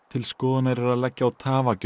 til skoðunar er að leggja á